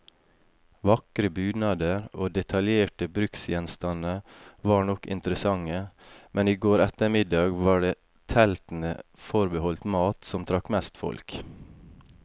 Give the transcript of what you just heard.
Vakre bunader og detaljerte bruksgjenstander var nok interessante, men i går ettermiddag var det teltene forbeholdt mat, som trakk mest folk.